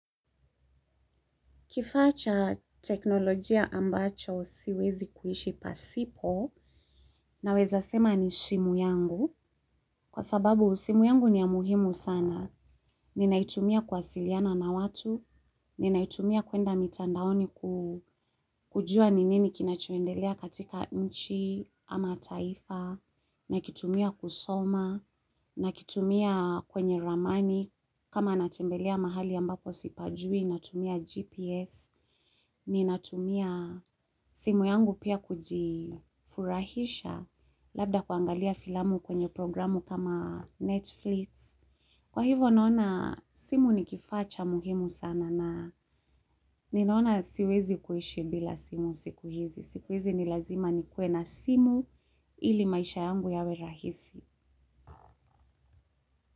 Kifaa cha teknolojia ambacho siwezi kuishi pasipo naweza sema ni simu yangu kwa sababu simu yangu ni ya muhimu sana. Ninaitumia kuwasiliana na watu, ninaitumia kuenda mtandaoni kujua ni nini kinachoendelea katika nchi ama taifa, nakitumia kusoma, nakitumia kwenye ramani, kama natembelea mahali ambapo sipajui, natumia GPS, ninatumia simu yangu pia kujifurahisha, labda kuangalia filamu kwenye programu kama Netflix. Kwa hivyo naona simu ni kifaa cha muhimu sana na ninaona siwezi kuishi bila simu siku hizi. Siku hizi ni lazima nikuwe na simu ili maisha yangu yawe rahisi.